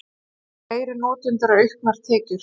Fleiri notendur og auknar tekjur